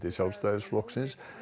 Sjálfstæðisflokks